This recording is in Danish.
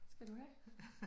Skal du have?